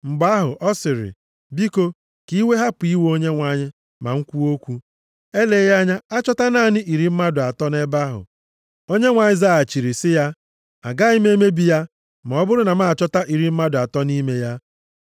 Mgbe ahụ ọ sịrị, “Biko, ka iwe hapụ iwe Onyenwe anyị ma m kwuo okwu. Eleghị anya, achọta naanị iri mmadụ atọ nʼebe ahụ?” Onyenwe anyị zaghachiri sị ya, “Agaghị m emebi ya, ma ọ bụrụ na m achọta iri mmadụ atọ nʼime ya.”